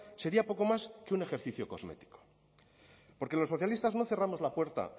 sería poco más que un ejercicio cosmético porque los socialistas no cerramos la puerta